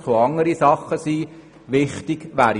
Es können auch andere Dinge wichtig sein.